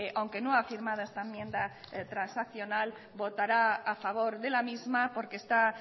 aunque no ha firmado esta enmienda transaccional votará a favor de la misma porque está